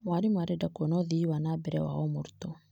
Mwarimũ arenda kuona ũthii wa na mbere wa o mũrutwo.